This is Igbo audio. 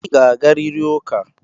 Ị ga-agarịrị ụka!